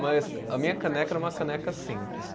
Mas a minha caneca era uma caneca simples.